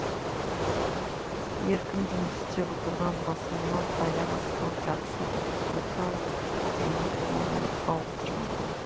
еркін жұмыс істеп отырған басылымнан аяқ астынан жақсы бір ұсыныс алып жұмыс орнын ауыстырған болатын